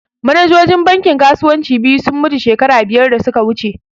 Manajojin bankin kasuwanci biyu sun mutu shekara biyar da suka wuce